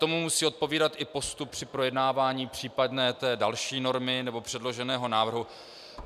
Tomu musí odpovídat i postup při projednávání případné té další normy nebo předloženého návrhu.